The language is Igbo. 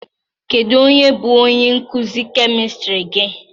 Kedu onye bu onye nkuzi kemistri gị?